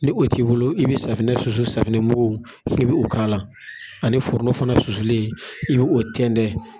Ni o t'i bolo i be safinɛ susu safinɛ muku i be o k'a la ani foronto muku susulen i be o tɛntɛn